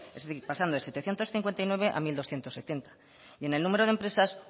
es decir pasando de setecientos cincuenta y nueve a mil doscientos setenta y en el número de empresa